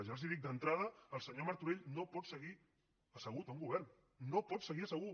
ja els dic d’entrada el senyor martorell no pot seguir assegut en un govern no pot seguir assegut